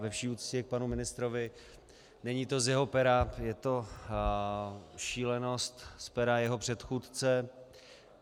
Ve vší úctě k panu ministrovi, není to z jeho pera, je to šílenost z pera jeho předchůdce.